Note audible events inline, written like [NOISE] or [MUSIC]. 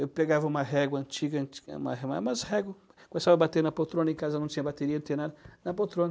Eu pegava uma régua antiga, antiga [UNINTELLIGIBLE] ma mas régua, começava a bater na poltrona, em casa não tinha bateria, tinha nada, na poltrona.